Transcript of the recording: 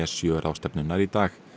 sjö ráðstefnunnar í dag